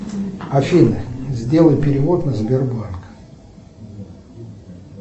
афина сделай перевод на сбербанк